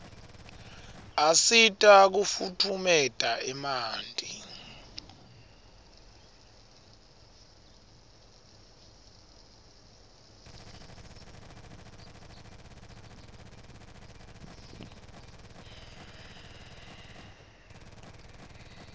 asita kufutfumeta emanti